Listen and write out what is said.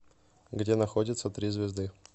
где находится три звезды